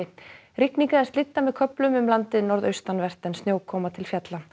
rigning eða slydda með köflum um landið norðaustanvert en snjókoma til fjalla